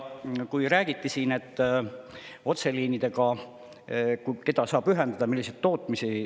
Siin räägiti ka sellest, keda saab otseliinidega ühendada, milliseid tootmisi.